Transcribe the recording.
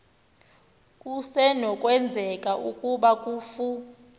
kusenokwenzeka ukuba kufu